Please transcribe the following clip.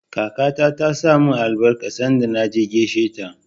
Kakata ta saka min albarka sanda na je gaisheta.